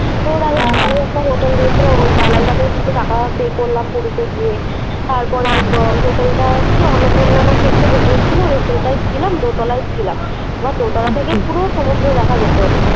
একটা হোটেল দিয়েছিল ওই দালাল টাকেও কিছু টাকা Pay করলাম পুরীতে গিয়ে, তারপরে হোটেলটা কি অন্নপূর্ণা নাকি কি একটা হোটেল ছিল ওই হোটেলটায় ছিলাম। দোতলায় ছিলাম। এবার দোতলা থেকে পুরো সমুদ্র দেখা যেত।